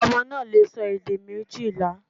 Ọmọ náà lè sọ èdè méjìlá